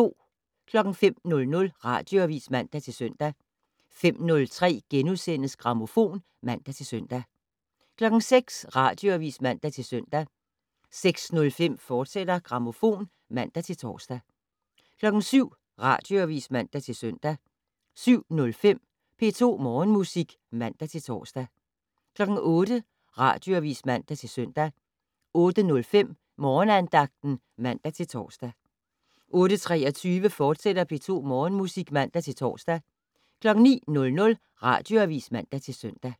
05:00: Radioavis (man-søn) 05:03: Grammofon *(man-søn) 06:00: Radioavis (man-søn) 06:05: Grammofon, fortsat (man-tor) 07:00: Radioavis (man-søn) 07:05: P2 Morgenmusik (man-tor) 08:00: Radioavis (man-søn) 08:05: Morgenandagten (man-tor) 08:23: P2 Morgenmusik, fortsat (man-tor) 09:00: Radioavis (man-søn)